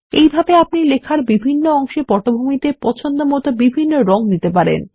এইভাবে আপনি লেখার বিভিন্ন অংশে পটভূমিতে পছন্দমত বিভিন্ন রং দিতে পারেন